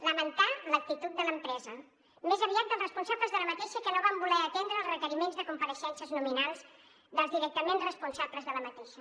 lamentar l’actitud de l’empresa més aviat dels responsables d’aquesta que no van voler atendre els requeriments de compareixences nominals dels directament responsables d’aquesta